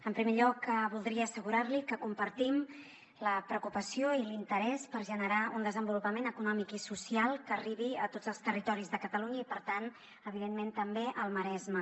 en primer lloc voldria assegurar li que compartim la preocupació i l’interès per generar un desenvolupament econòmic i social que arribi a tots els territoris de catalunya i per tant evidentment també al maresme